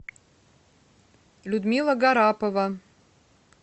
людмила гарапова